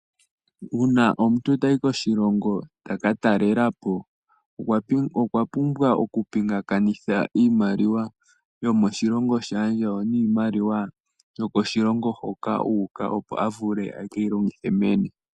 Uuna kmuntu tayi koshilongo taka talela po okwa pumbwa oku pinganekitha iimaliwa yomoshilongo shaandjawo noyomoshilongo hoka uuka opo avule ekeyi longithe